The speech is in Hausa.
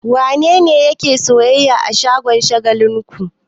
Wane ne yake sayyayya a shagon Shagalinku?